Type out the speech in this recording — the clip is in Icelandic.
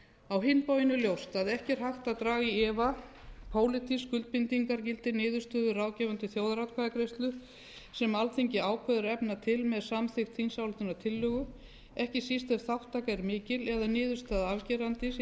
á hinn bóginn er ljóst að ekki er hægt að draga í efa pólitískt skuldbindingargildi niðurstöðu ráðgefandi þjóðaratkvæðagreiðslu sem alþingi ákveður að efna til með samþykkt þingsályktunartillögu ekki síst ef þátttaka er mikil eða niðurstaða afgerandi sé tekið mið